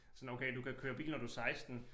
Sådan okay du kan køre bil når du 16